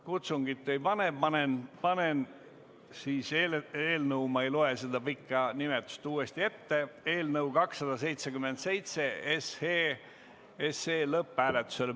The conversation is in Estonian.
Kutsungit ei tee, panen eelnõu – ma ei loe seda pikka nimetust uuesti ette – 277 lõpphääletusele.